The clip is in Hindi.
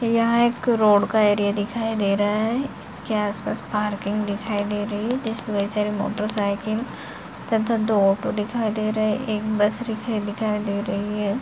यह एक रोड का एरिया दिखाई दे रहा है इसके आसपास पार्किंग दिखाई दे रही है जिसपे कई सारे मोटरसाइकिल तथा दो ऑटो दिखाई दे रहें हैं एक बस रखी दिखाई दे रही है।